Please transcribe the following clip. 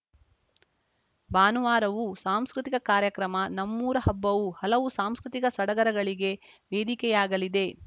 ಭಾನುವಾರವೂ ಸಾಂಸ್ಕೃತಿಕ ಕಾರ್ಯಕ್ರಮ ನಮ್ಮೂರ ಹಬ್ಬವು ಹಲವು ಸಾಂಸ್ಕೃತಿಕ ಸಡಗರಗಳಿಗೆ ವೇದಿಕೆಯಾಗಲಿದೆ